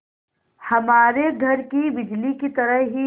हमारे घर की बिजली की तरह ही है